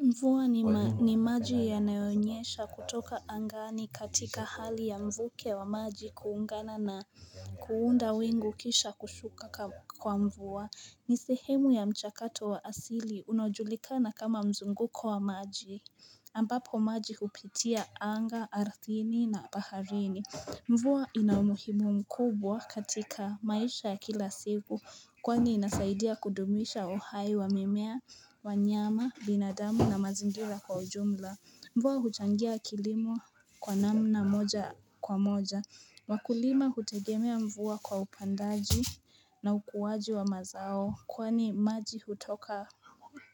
Mvua ni maji yanayonyesha kutoka angani katika hali ya mvuke wa maji kuungana na kuunda wingu kisha kushuka kwa mvua ni sehemu ya mchakato wa asili unaojulikana kama mzunguko wa maji ambapo maji kupitia anga, arthini na baharini Mvua ina umuhimu mkubwa katika maisha ya kila siku Kwani inasaidia kudumisha uhai wa mimea, wanyama, binadamu na mazingira kwa ujumla Mvua huchangia kilimo kwa namna moja kwa moja Wakulima hutegemea mvua kwa upandaji na ukuaji wa mazao Kwani maji hutoka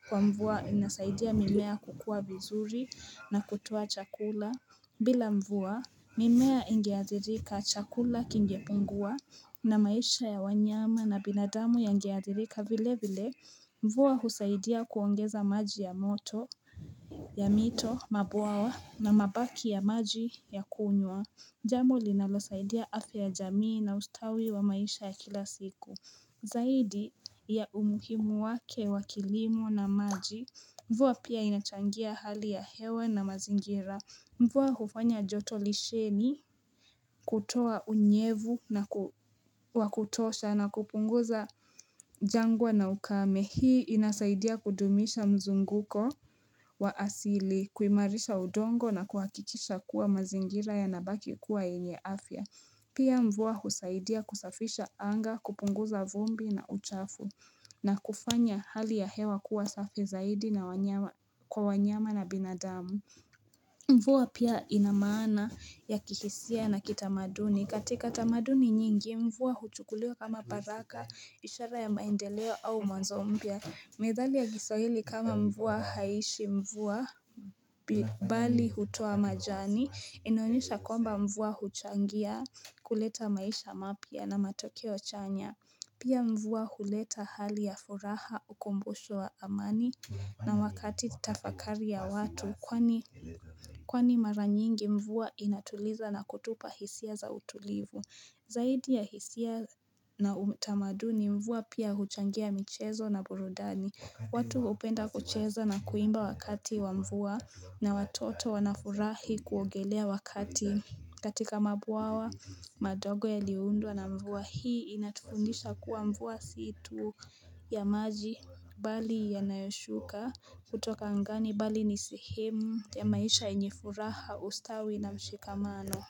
kwa mvua inasaidia mimea kukua vizuri na kutoa chakula bila mvua, mimea ingeadhirika chakula kingepungua na maisha ya wanyama na binadamu yangeadhirika vile vile. Mvua husaidia kuongeza maji ya moto, ya mito, mabwawa na mabaki ya maji ya kunywa. Jambo linalosaidia afya ya jamii na ustawi wa maisha ya kila siku. Zaidi ya umuhimu wake wa kilimo na maji. Mvua pia inachangia hali ya hewe na mazingira. Mvua hufanya joto lisheni, kutoa unyevu na wa kutosha na kupunguza jangwa na ukame. Hii inasaidia kudumisha mzunguko wa asili, kuimarisha udongo na kuhakikisha kuwa mazingira yanabaki kuwa yenye afya. Pia mvua husaidia kusafisha anga, kupunguza vumbi na uchafu na kufanya hali ya hewa kuwa safi zaidi na kwa wanyama na binadamu. Mvua pia ina maana ya kihisia na kitamaduni. Katika tamaduni nyingi, mvua huchukuliwa kama baraka, ishara ya maendeleo au mwanzo mpya. Methali ya kiswahili kama mvua haiishi mvua bali hutoa majani. Inaonyesha kwamba mvua huchangia kuleta maisha mapya na matokeo chanya. Pia mvua huleta hali ya furaha ukumbusho wa amani na wakati tafakari ya watu Kwani mara nyingi mvua inatuliza na kutupa hisia za utulivu Zaidi ya hisia na utamaduni mvua pia huchangia michezo na burudani watu hupenda kucheza na kuimba wakati wa mvua na watoto wanafurahi kuogelea wakati katika mabwawa madogo yaliyoundwa na mvua hii inatufundisha kuwa mvua si tu ya maji bali yanayoshuka kutoka angani bali ni sehemu ya maisha yenye furaha ustawi na mshikamano.